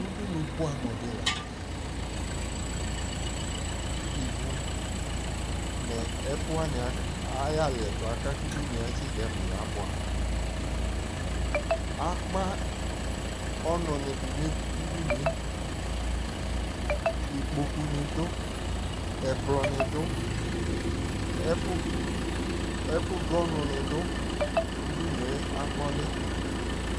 udunu boɛ amo di lantɛ ivu no ɛfu wani ayi aliɛto aka ko udunue atsi dɛmo yaboɛ amo akpa ɔno ni do no udunue, ikpoku ni do, ɛkplɔ ni do, ɛko do ɔnu ni do, udunue akpa ɔli